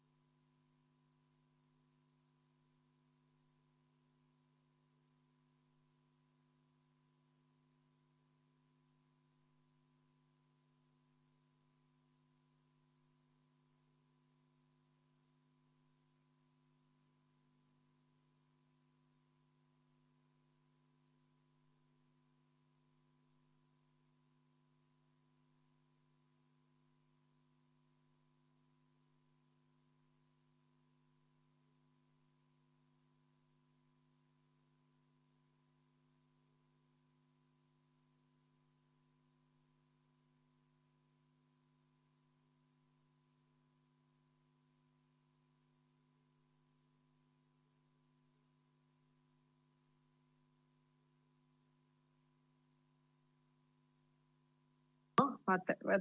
V a h e a e g